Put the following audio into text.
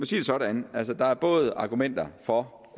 det sådan der er både argumenter for